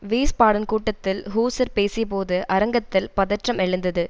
Wiesbaden கூட்டத்தில் Husar பேசியபோது அரங்கத்தில் பதற்றம் எழுந்தது